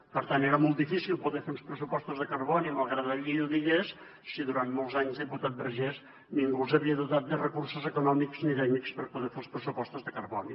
per tant era molt difícil poder fer uns pressupostos de carboni malgrat que la llei ho digués si durant molts anys diputat vergés ningú els havia dotat de recursos econòmics ni tècnics per poder fer els pressupostos de carboni